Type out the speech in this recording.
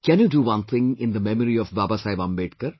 Can you do one thing in the memory of Babasaheb Ambedkar